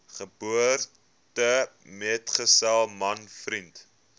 geboortemetgesel man vriend